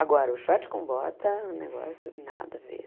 Agora, o short com bota, o negócio, nada a ver.